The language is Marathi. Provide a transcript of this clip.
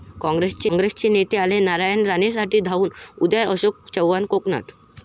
काँग्रेसचे नेते आले नारायण राणेंसाठी धावून, उद्या अशोक चव्हाण कोकणात!